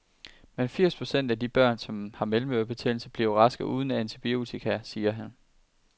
Men firs procent af de børn, som har mellemørebetændelse, bliver raske uden antibiotika, siger han.